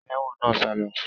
Ẹlẹ́wọ̀n náà salọ